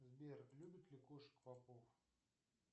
сбер любит ли кошек попов